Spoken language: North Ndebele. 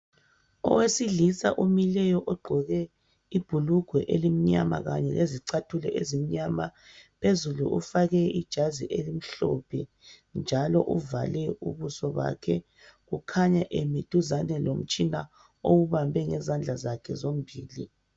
Owesilisa omileyo ogqoke ibhulugwe elimnyama kanye lezicathulo ezimnyama. Phezulu ufake ijazi elimhlophe njalo uvale ubuso bakhe, kukhanya emi duzane lomtshina owubambe ngezandla zakhe zombili.